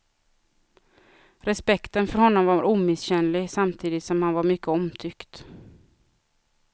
Respekten för honom var omisskännlig samtidigt som han var mycket omtyckt.